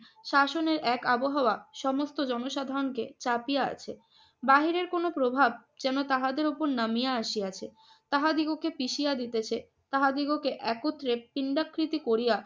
শাসনের এক আবহাওয়া সমস্ত জনসাধারণকে চাপিয়া আছে। বাহিরের কোন প্রভাব যেন তাহাদের উপর নামিয়া আসিয়াছে। তাহাদিগকে পিষিয়া দিতেছে, তাহাদিগকে একত্রে পিণ্ডাকৃতি করিয়া